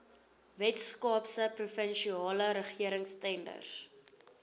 weskaapse provinsiale regeringstenders